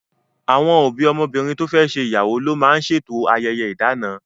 Àwọn òbí ọmọbìnrin to fẹ́ ṣe ìyàwó ló máa ń ṣe eto ayẹyẹ idana